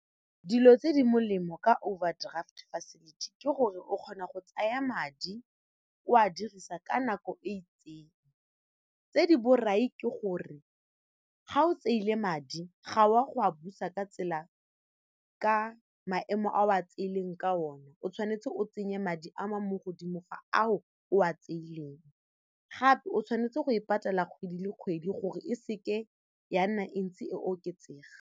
Dilo tse di molemo ka overdraft facility ke gore o kgona go tsaya madi o a dirisa ka nako e itseng, tse di borai ke gore ga o tseile madi ga wa go a busa ka tsela ka maemo a o a tseileng ka o ne o tshwanetse o tsenye madi a mangwe mo godimo ga ao o a tseileng gape o tshwanetse go e patala kgwedi le kgwedi gore e seke ya nna e ntse e oketsega.